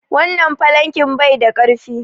Wannan falanken bai da ƙarfi.